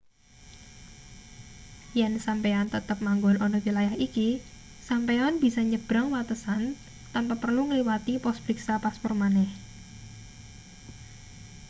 yen sampeyan tetep manggon ana wilayah iki sampeyan bisa nyebrang watesan tanpa perlu ngliwati pos priksa paspor maneh